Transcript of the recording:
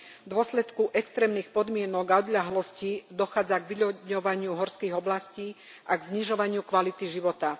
V dôsledku extrémnych podmienok a odľahlosti dochádza k vyľudňovaniu horských oblastí a k znižovaniu kvality života.